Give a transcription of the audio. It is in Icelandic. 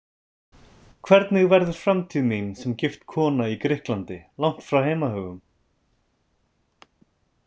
Hvernig verður framtíð mín sem gift kona í Grikklandi, langt frá heimahögum?